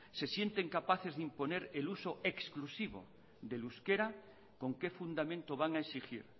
se sienten capaces de imponer el uso exclusivo del euskera con qué fundamento van a exigir